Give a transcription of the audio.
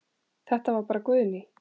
Þetta var bara Guðný.